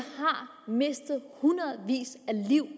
mistet hundredevis af liv